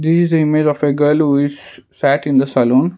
this is a image of a girl who is sac in the salon.